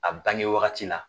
A bange wagati la